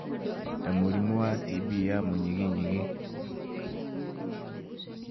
ta mũrimũ wa TB ya mũnyiginyigi